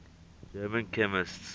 german chemists